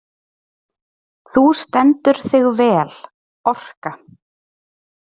Þú stendur þig vel, Orka!